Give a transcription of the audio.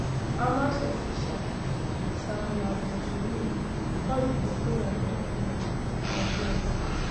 hamas official sami abu zuhri call di proposal ridiculous and absurd